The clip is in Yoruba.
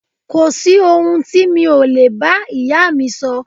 Kò sí ohun tí mi ò lè bá ìyáà mi sọ.